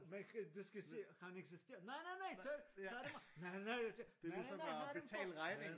Man kan du skal se han insisterer nej nej nej tage dem tage dem af nej nej tage nej nej nje tage dem på